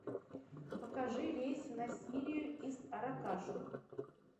покажи рейс в насирию из аракажу